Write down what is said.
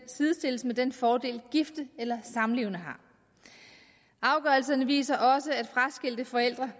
sidestilles med den fordel gifte eller samlevende har afgørelserne viser også at fraskilte forældre